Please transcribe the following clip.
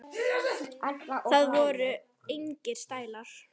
Það voru engir stælar.